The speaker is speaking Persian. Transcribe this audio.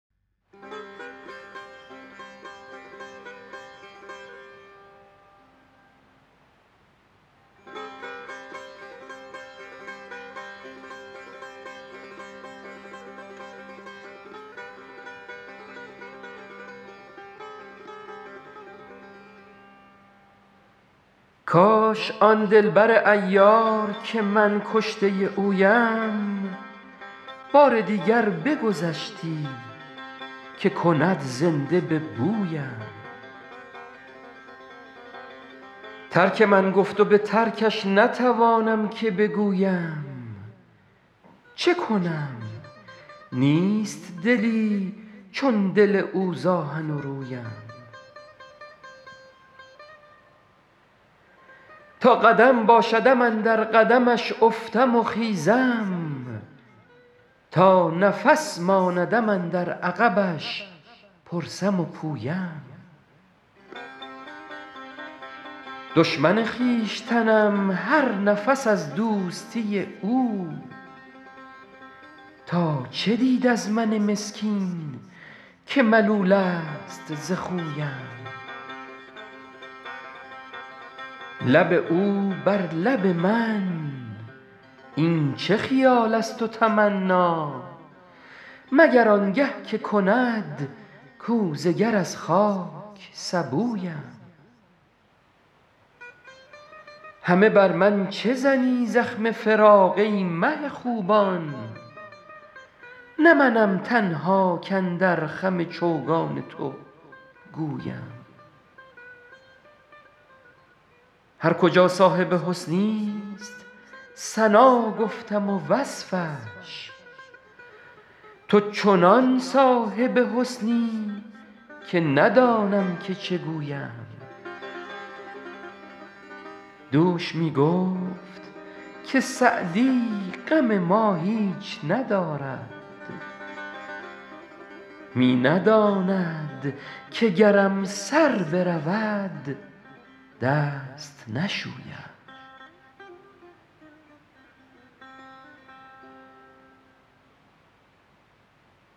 کاش کان دل بر عیار که من کشته اویم بار دیگر بگذشتی که کند زنده به بویم ترک من گفت و به ترکش نتوانم که بگویم چه کنم نیست دلی چون دل او ز آهن و رویم تا قدم باشدم اندر قدمش افتم و خیزم تا نفس ماندم اندر عقبش پرسم و پویم دشمن خویشتنم هر نفس از دوستی او تا چه دید از من مسکین که ملول است ز خویم لب او بر لب من این چه خیال است و تمنا مگر آن گه که کند کوزه گر از خاک سبویم همه بر من چه زنی زخم فراق ای مه خوبان نه منم تنها کاندر خم چوگان تو گویم هر کجا صاحب حسنی ست ثنا گفتم و وصفش تو چنان صاحب حسنی که ندانم که چه گویم دوش می گفت که سعدی غم ما هیچ ندارد می نداند که گرم سر برود دست نشویم